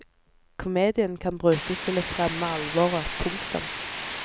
Komedien kan brukes til å fremme alvoret. punktum